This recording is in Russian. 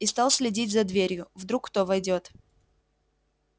и стал следить за дверью вдруг кто войдёт